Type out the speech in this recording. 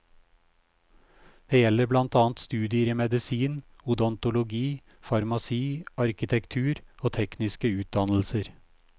Det gjelder blant annet studier i medisin, odontologi, farmasi, arkitektur og tekniske utdannelser.